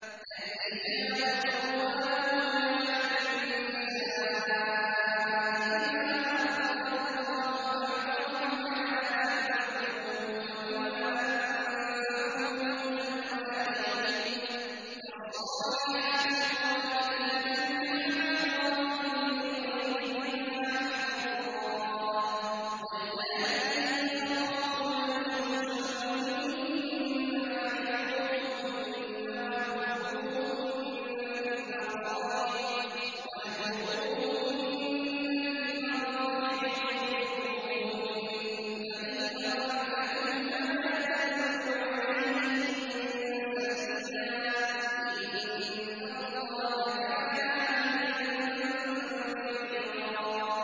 الرِّجَالُ قَوَّامُونَ عَلَى النِّسَاءِ بِمَا فَضَّلَ اللَّهُ بَعْضَهُمْ عَلَىٰ بَعْضٍ وَبِمَا أَنفَقُوا مِنْ أَمْوَالِهِمْ ۚ فَالصَّالِحَاتُ قَانِتَاتٌ حَافِظَاتٌ لِّلْغَيْبِ بِمَا حَفِظَ اللَّهُ ۚ وَاللَّاتِي تَخَافُونَ نُشُوزَهُنَّ فَعِظُوهُنَّ وَاهْجُرُوهُنَّ فِي الْمَضَاجِعِ وَاضْرِبُوهُنَّ ۖ فَإِنْ أَطَعْنَكُمْ فَلَا تَبْغُوا عَلَيْهِنَّ سَبِيلًا ۗ إِنَّ اللَّهَ كَانَ عَلِيًّا كَبِيرًا